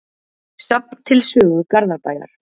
Safn til sögu Garðabæjar.